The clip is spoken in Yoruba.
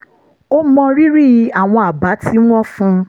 ó mọrírì àwọn àbá tí wọ́n fún un